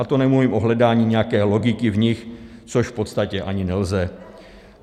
A to nemluvím o hledání nějaké logiky v nich, což v podstatě ani nelze.